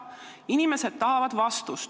Inimesed tahavad vastust.